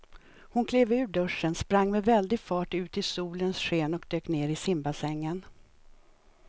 Hon klev ur duschen, sprang med väldig fart ut i solens sken och dök ner i simbassängen.